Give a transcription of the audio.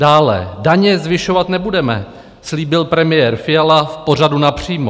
Dále: "Daně zvyšovat nebudeme," slíbil premiér Fiala v pořadu Napřímo.